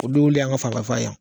O dugukolo y'an ka yan